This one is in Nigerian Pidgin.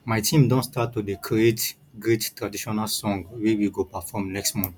my team don start to dey create great traditional song wey we go perform next month